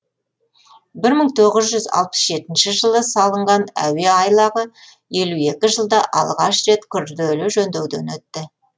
бір мың тоғыз жүз алпыс жетінші жылы салынған әуе айлағы елу екінші жылда алғаш рет күрделі жөндеуден өтті